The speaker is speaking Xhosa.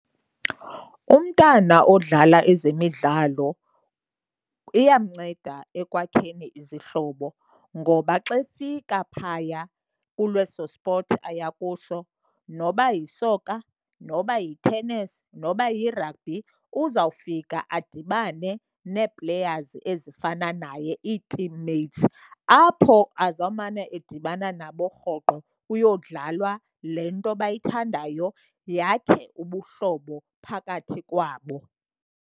Umntana odlala ezemidlalo iyamnceda ekwakheni izihlobo. Ngoba xa efika phaya kuleso spothi aya kuso, noba yisoka, noba yitenesi, noba yirabhi, uzawufika adibane nee-players ezifana naye ii-team mates, apho azawumane edibana nabo rhoqo kuyodlalwa le nto abayithandayo, yakhe ubuhlobo phakathi kwabo.